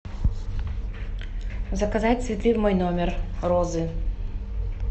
заказать цветы в мой номер розы